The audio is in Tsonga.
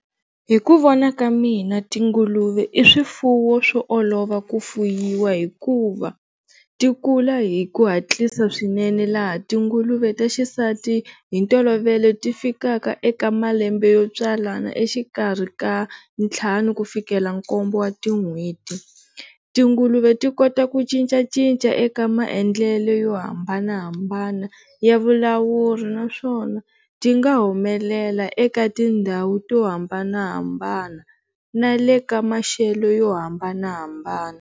Hi ku vona ka mina tinguluve i swifuwo swo olova ku fuyiwa hikuva ti kula hi ku hatlisa swinene laha tinguluve ta xisati hi ntolovelo ti fikaka eka malembe yo tswalana exikarhi ka nthlanu ku fikela nkombo wa tin'hweti, tinguluve ti kota ku cincacinca eka maendlele yo hambanahambana ya vavulavuri naswona ti nga humelela eka tindhawu to hambanahambana na le ka maxelo yo hambanahambana.